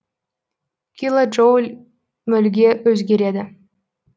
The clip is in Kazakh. килоджоуль мольге өзгереді